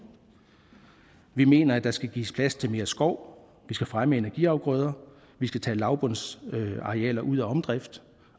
vi mener at der skal gives plads til mere skov vi skal fremme energiafgrøder vi skal tage lavbundsarealer ud af omdrift